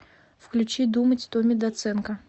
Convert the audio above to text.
включи думать томми доценко